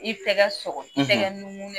I tɛgɛ sɔkɔ; , I tɛgɛ nugun